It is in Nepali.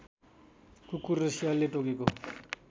कुकुर र स्यालले टोकेको